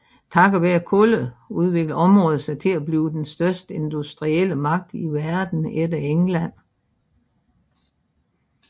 Takket være kullet udviklede området sig til at blive den største industrielle magt i Verden efter England